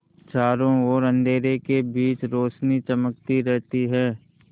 चारों ओर अंधेरे के बीच रौशनी चमकती रहती है